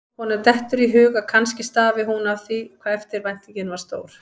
Honum dettur í hug að kannski stafi hún af því hvað eftirvæntingin var stór.